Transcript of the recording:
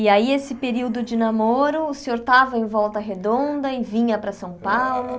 E aí esse período de namoro, o senhor estava em volta redonda e vinha para São Paulo?